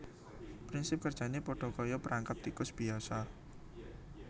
Prinsip kerjané padha kaya perangkap tikus biyasa